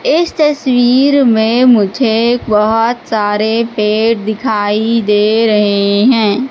इस तस्वीर में मुझे बहोत सारे पेड़ दिखाई दे रहे हैं।